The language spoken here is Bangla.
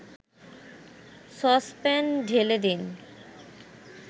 সসপ্যান ঢেলে দিন